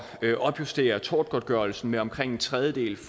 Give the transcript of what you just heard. at opjustere tortgodtgørelsen med omkring en tredjedel